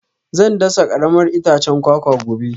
Zan dasa karamar itacen kwakwa gobe